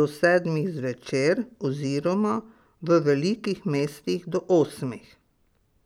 do sedmih zvečer oziroma v velikih mestih do osmih.